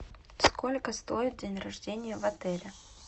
сколько стоит день рождения в отеле